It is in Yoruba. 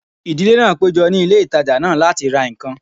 Ìdílé náà péjọ ní ilé ìtajà náà láti ra ǹkan